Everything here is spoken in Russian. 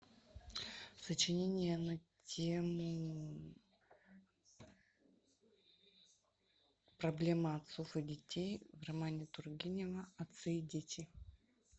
сочинение на тему проблема отцов и детей в романе тургенева отцы и дети